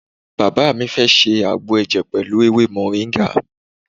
Bàbá mi fẹ́ ṣe àgbo ẹ̀jẹ̀ pẹ̀lú ewé moringa.